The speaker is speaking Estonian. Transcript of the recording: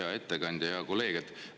Hea ettekandja, hea kolleeg!